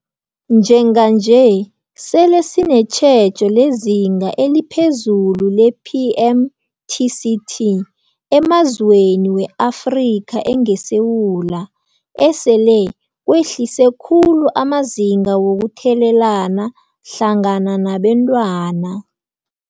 Njenganje sele sinetjhejo lezinga eliphezulu le-PMTCT emazweni we-Afrika engeSewula, esele kwehlise khulu amazinga wokuthelelana hlangana nabentwana.